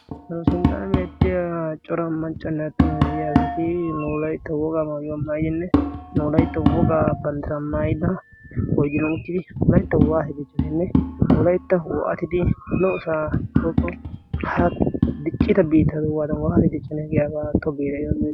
sanosinttaana biettiya cora maccuanne aattumu gigiya asatii noolaitta wogaa mauuwaa mayidinne noolaitto wogaa pantiramayida goidiramuttidi laitto waahe dichchoninne nolaitta uo7atidi lo77osaa koqo ha diqcita biittadu waadan waahe dicconae giyaabaa tto geera